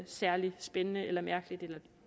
særlig spændende eller mærkeligt